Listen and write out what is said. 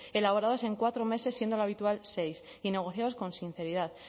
elaborados en cuatro meses siendo lo habitual seis y negociados con sinceridad